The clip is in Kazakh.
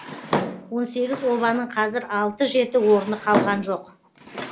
он сегіз обаның қазір алты жеті орны қалған жоқ